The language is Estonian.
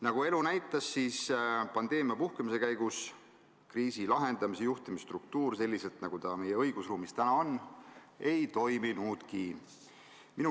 Nagu elu näitas, siis pandeemia puhkemise käigus kriisi lahendamise juhtimisstruktuur selliselt, nagu ta meie õigusruumis täna on, ei toiminudki.